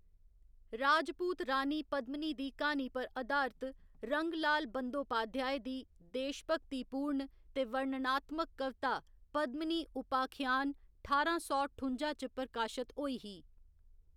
राजपूत रानी पद्मिनी दी क्हानी पर अधारत रंगलाल बंदोपाध्याय दी देशभक्तिपूर्ण ते वर्णनात्मक कविता पद्मिनी उपाख्यान ठारां सौ ठुं'जा च प्रकाशत होई ही।